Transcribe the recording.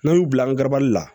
N'an y'u bila an ga la